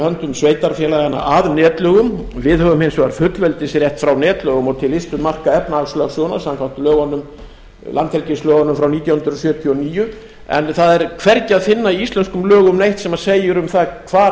höndum sveitarfélaganna að netlögum við höfum hins vegar fullveldisrétt frá netlögum og til ystu marka efnahagslögsögunnar samkvæmt landhelgislögunum frá nítján hundruð fjörutíu og níu en það er hvergi að finna í íslenskum lögum neitt sem segir um það hvar